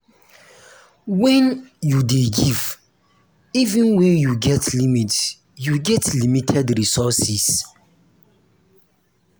when you dey give even when you get limited you get limited resources